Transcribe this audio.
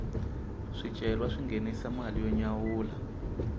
swicelwa swi nghenisa mali yo nyawula